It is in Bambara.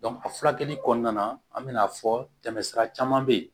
a furakɛli kɔnɔna na an mɛna fɔ tɛmɛsira caman be yen